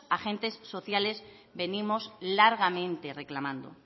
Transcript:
agentes sociales venimos largamente reclamando